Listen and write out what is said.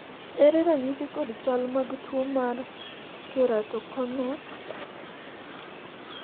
ere ranyisi kod chal mag tuo mar keratokonus ?